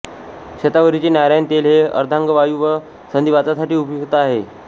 शतावरीचे नारायण तेल हे अर्धांगवायू व संधिवातासाठी उपयुक्त आहे